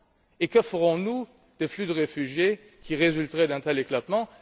Et que ferons nous des flux de réfugiés qui résulteraient d'un tel éclatement?